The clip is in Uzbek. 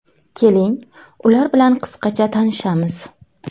Keling, ular bilan qisqacha tanishamiz.